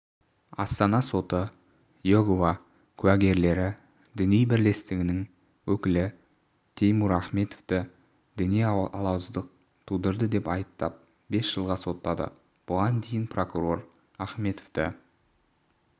астана соты иегова куігерлері діни бірлестігінің өкілі теймур ахмедовті діни алауыздық тудырды деп айыптап бес жылға соттады бұған дейін прокурор ахмедовті